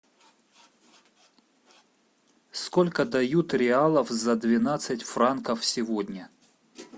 сколько дают реалов за двенадцать франков сегодня